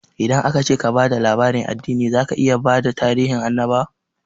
Idan aka ce ka ba da labarin addini, zaka iya bada tarihin annabawa